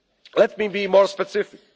we can offer them. Let